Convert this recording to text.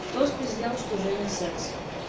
кто спиздел что женя секс